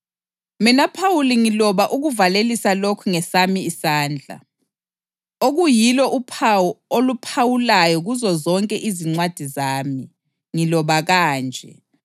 Mina Phawuli ngiloba ukuvalelisa lokhu ngesami isandla, okuyilo uphawu oluphawulayo kuzozonke izincwadi zami. Ngiloba kanje.